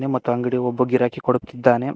ಮತ್ತ ಅಂಗಡಿ ಒಬ್ಬ ಗಿರಾಕಿ ಕೊಡುತ್ತಿದ್ದಾನೆ.